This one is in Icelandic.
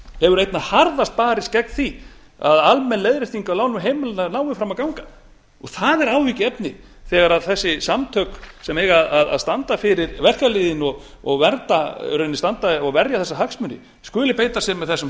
hefur einna harðast barist gegn því að almenn leiðrétting á lánum heimilanna nái fram að ganga og það er áhyggjuefni þegar þessi samtök sem eiga að standa fyrir verkalýðinn og verja þessa hagsmuni skuli beita sér með þessum